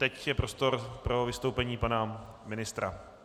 Teď je prostor pro vystoupení pana ministra.